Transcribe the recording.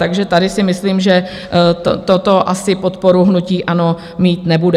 Takže tady si myslím, že toto asi podporu hnutí ANO mít nebude.